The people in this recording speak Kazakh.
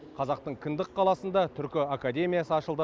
қазақтың кіндік қаласында түркі академиясы ашылды